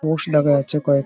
post দেখা যাচ্ছে কয়েক --